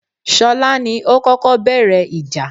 Ṣọlá ni ó kọ́kọ́ bẹ̀rẹ̀ ìjà